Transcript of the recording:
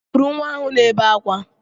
Kụrụ nwa ahụ na-ebe akwa!